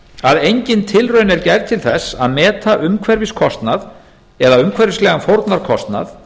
að engin tilraun er gerð til þess að meta umhverfiskostnað eða umhverfislegan fórnarkostnað